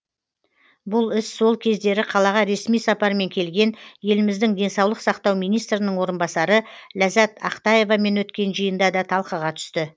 бұл іс сол кездері қалаға ресми сапармен келген еліміздің денсаулық сақтау министрінің орынбасары ләззат ақтаевамен өткен жиында да талқыға түсті